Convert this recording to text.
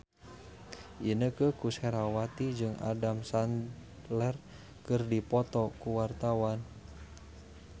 Inneke Koesherawati jeung Adam Sandler keur dipoto ku wartawan